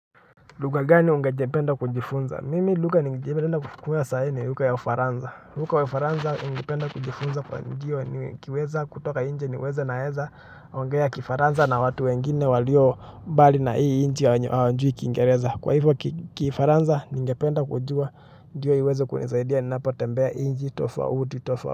Lugha gani ungependa kujifunza? Mimi lugha ningependa kujifunza sai ni lugha ya ufaransa lugha ya ufaransa ningependa kujifunza ndio nikiweza kutoka nje niweze naeza ongea kifaransa na watu wengine walio mbali na hii nchi wenye hawajui kingereza. Kwa hivyo kifaransa ningependa kujua ndio iweze kunisaidia ninapo tembea nchi tofauti.